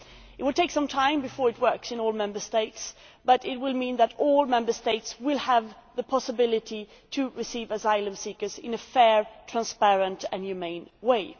It will take some time before it works in all Member States but it will mean that all Member States will have the possibility of receiving asylum seekers in a fair, transparent and humane way.